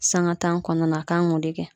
Sanga tan kɔnɔna na a kan k'o de .